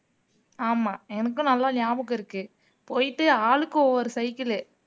ஆமா எனக்கும் நல்லா ஞாபகம் இருக்கு போயிட்டு ஆளுக்கு ஒவ்வொரு cycle